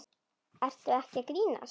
Ertu ekki að grínast?